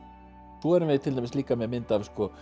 svo erum við til dæmis líka með mynd af